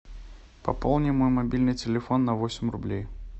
пополни мой мобильный телефон на восемь рублей